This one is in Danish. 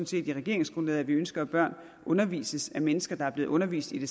set i regeringsgrundlaget at vi ønsker at børn undervises af mennesker der er blevet undervist i det